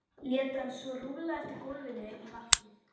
lét hann svo rúlla eftir gólfinu í markið.